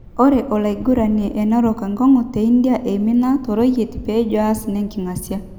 Ore oloiguranie enerok enkongu te India eimina toreyiet pejo aas nenkingasia.